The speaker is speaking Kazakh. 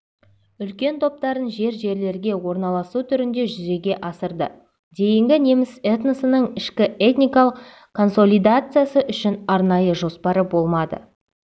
үлкен топтарын жер-жерлерге орналасу түрінде жүзеге асырды дейінгі неміс этносының ішкі этникалық консолидациясы үшін арнайы жоспары болмады